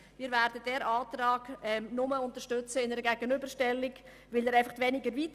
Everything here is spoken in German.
Wir werden diesen Antrag nur in einer Gegenüberstellung unterstützen, denn er geht weniger weit.